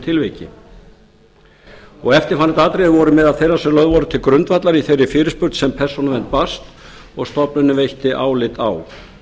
tilviki eftirfarandi atriði voru meðal þeirra sem lög voru til grundvallar í þeirri fyrirspurn sem persónuvernd barst og stofnunin veitti álit á